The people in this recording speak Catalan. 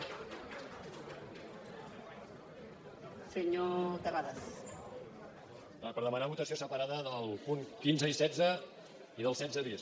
per demanar votació separada dels punts quinze i setze i del setze bis